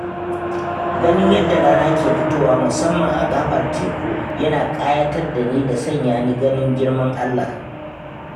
Ganin yadda rana ke fitowa musamman a gaɓar teku yana ƙayatar da ni da sanya ni ganin girman Allah.